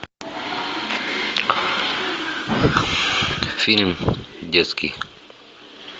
фильм детский